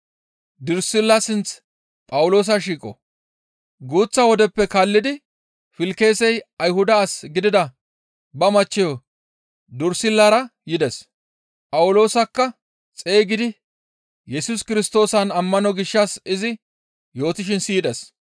Guuththa wodeppe kaallidi Filkisey Ayhuda as gidida ba machcheyo Durissillara yides; Phawuloosakka xeygidi Yesus Kirstoosan ammano gishshas izi yootishin siyides.